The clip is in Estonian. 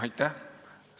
Aitäh!